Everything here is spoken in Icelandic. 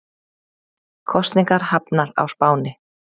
Kosningar hafnar á Spáni